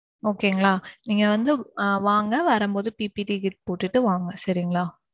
Okay ங்களா நீங்க வந்து வாங்க வரும்போது PPT kit போட்டுட்டு வாங்க சரிங்களா.